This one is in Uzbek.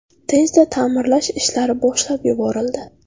Tezda ta’mirlash ishlari boshlab yuborildi.